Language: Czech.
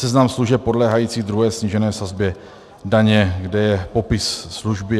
Seznam služeb podléhajících druhé snížené sazbě daně - kde je popis služby.